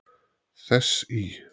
Þess í